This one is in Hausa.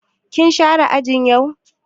Kin share aji yau?